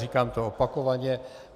Říkám to opakovaně.